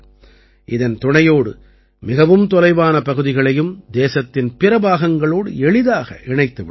இதன் துணையோடு மிகவும் தொலைவான பகுதிகளையும் தேசத்தின் பிற பாகங்களோடு எளிதாக இணைத்து விடலாம்